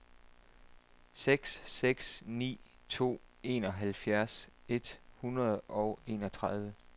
seks seks ni to enoghalvfjerds et hundrede og enogtredive